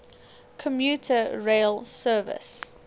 commuter rail service